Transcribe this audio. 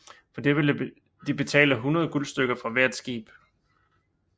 For det ville de betale 100 guldstykker fra hvert skib